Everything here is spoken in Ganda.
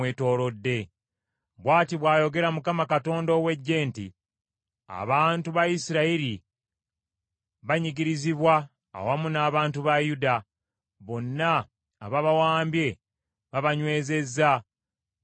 Bw’ati bw’ayogera Mukama Katonda ow’Eggye nti, “Abantu ba Isirayiri banyigirizibwa awamu n’abantu ba Yuda; Bonna ababawambye babanywezezza, bagaanye okubata.